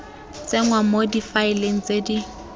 tsenngwa mo difaeleng tse di